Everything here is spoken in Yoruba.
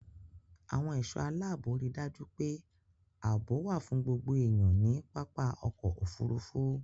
Àwọn ẹ̀ṣọ́ aláàbò ri dájú pé àbọ̀ wà fún gbogbo èèyàn ní pápá ọkọ-òfurufú.